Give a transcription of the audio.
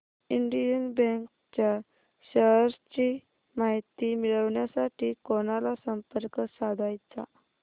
Indian bank च्या shares ची माहिती मिळविण्यासाठी कोणाला संपर्क साधायचा